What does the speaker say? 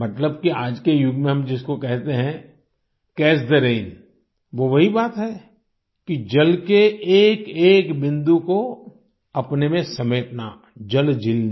मतलब की आज के युग में हम जिसको कहते है कैच थे रैन वो वही बात है कि जल के एकएक बिंदु को अपने में समेटना जलजीलनी